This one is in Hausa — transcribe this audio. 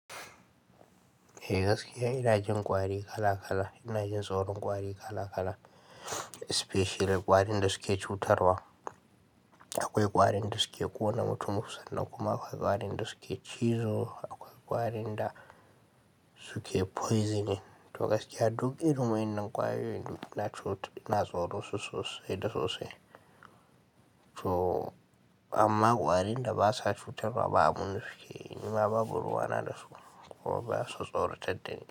Eeh kasikiya ina jin kwari kala kala, ina jin tsoron kwari kala kala, especially kwarin da suke cutarwa. Akwai kwari nda suke kona mutumun sannan kuma, akwai kwari nda suke chizo, akwai kwari nda suke poisoning. To gaskiya duk irin wa'innan kwarin da na cut, ina tsoron su sosai da sosai. To amma kwarin da ba sa cutarwa, ba abun da sukeyi nima babu ruwana da su, kuma basu tsoratadda ni.